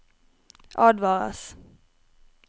advares